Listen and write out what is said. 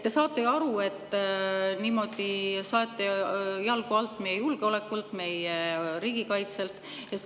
Te saate ju aru, et niimoodi te saete meie julgeolekult, meie riigikaitselt jalgu alt.